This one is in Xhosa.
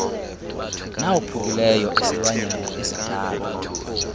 nawophukileyo esilwanyana esidala